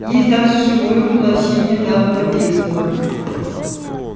есть даже живое воплощение данного действа